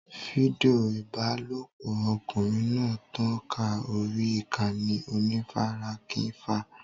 Fídíò ìbálòpọ̀ ọkùnrin náà tàn ká orí ìkànnì onífarakínra.